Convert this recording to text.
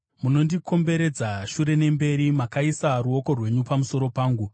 Munondikomberedza shure nemberi; makaisa ruoko rwenyu pamusoro pangu.